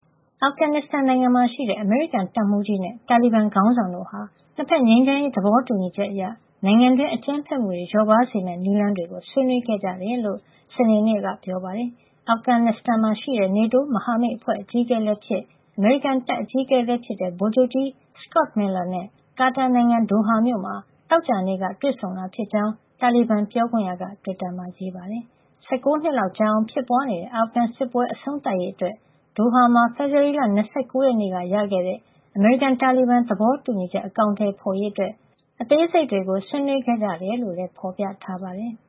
အာဖဂန်နစ္စတန်နိုင်ငံမှာရှိတဲ့ အမေရိကန်တပ်မှူးကြီးနဲ့ တာလီဘန် ခေါင်းဆောင်တို့ဟာ နှစ်ဖက် ငြိမ်းချမ်းရေး သဘောတူညီချက်အရ နိုင်ငံတွင်း အကြမ်းဖက်မှုတွေ လျော့ပါးစေမယ့် နည်းလမ်းတွေကို ဆွေးနွေးခဲ့ကြတယ်လို့ စနေနေ့က ပြောပါတယ်။ အာဖဂန်နစ္စတန်မှာရှိတဲ့ NATO မဟာမိတ်အဖွဲ့ အကြီးအကဲလည်းဖြစ် အမေရိကန်တပ် အကြီးအကဲလည်းဖြစ်တဲ့ ဗိုလ်ချုပ်ကြီး Scott Miller နဲ့ ကာတာနိုင်ငံ Doha မြို့မှာ သောကြာနေ့ညက တွေ့ဆုံတာဖြစ်ကြောင်း တာလီဘန် ပြောခွင့်ရ Suhail Shaheen က တွစ်တာမှာ ရေးပါတယ်။ ၁၉ နှစ်လောက်ကြာအောင် ဖြစ်ပွားနေတဲ့ အာဖဂန်စစ်ပွဲ အဆုံးသတ်ရေးအတွက် Doha မှာ ဖေဖော်ဝါရီလ ၂၉ ရက်နေ့က ရခဲ့တဲ့ အမေရိကန်-တာလီဘန် သဘောတူညီချက် အကောင်ထည်ဖော်ရေးအတွက် အသေးစိတ်တွေကို ဆွေးနွေးခဲ့ကြတယ်လို့လည်း ဖော်ပြထားပါတယ်။